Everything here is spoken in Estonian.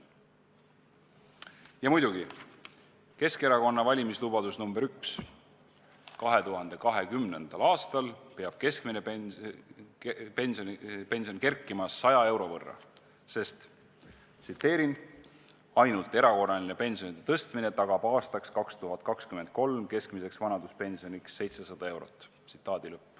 Ja muidugi, Keskerakonna valimislubadus nr 1: 2020. aastal peab keskmine pension kerkima 100 euro võrra, sest "ainult erakorraline pensionide tõstmine tagab aastaks 2023 keskmiseks vanaduspensioniks 700 eurot".